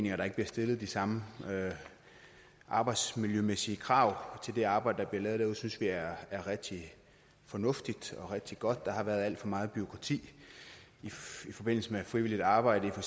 at der ikke bliver stillet de samme arbejdsmiljømæssige krav til det arbejde der bliver lavet derude synes vi er rigtig fornuftigt og rigtig godt for der har været alt for meget bureaukrati i forbindelse med frivilligt arbejde i for